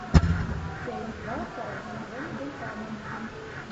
часть два второй сезон вулканы